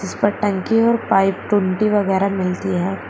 इस पर टंकी है और पाइप टूंटी वगैरा मिलती है।